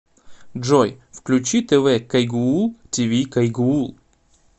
джой включи тэ вэ кайгуул ти ви кайгуул